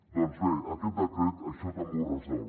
doncs bé aquest decret això també ho resol